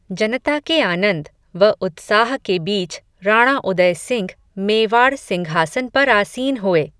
जनता के आनंद, व उत्साह के बीच, राणा उदयसिंह, मेवाड़ सिंघासन पर आसीन हुए